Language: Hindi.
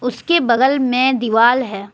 इसके बगल में दिवाल है।